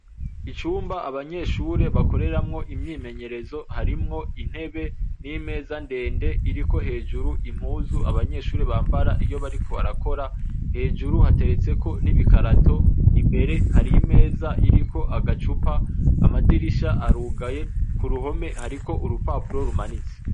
Icumba abanyeshuri bakoreramwo imyimenyerezo, harimwo intebe n'imeza ndende iriko hejuru impuzu Abanyeshuri bambara iyo bariko barakora, hejuru hateretse ko n'ibikarato imbere hari imeza iri ko agacupa ,Amadirisha arugaye ku ruhome hariko urupapuro rumanitse.